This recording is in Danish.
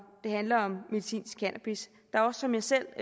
det handler om medicinsk cannabis der er også som jeg selv